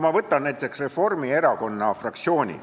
Ma võtan näiteks Reformierakonna fraktsiooni.